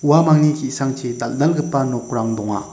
uamangni ki·sangchi dal·dalgipa nokrang donga.